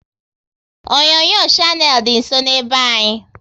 Onyonyo Shannel dị nsọ n'be anyị